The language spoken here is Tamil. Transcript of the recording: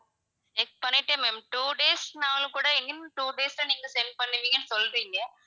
check பண்ணிட்டேன் ma'am two days னாலும்ன்னா கூட, within two days ல நீங்க send பண்ணுவீங்கன்னு சொல்றிங்க,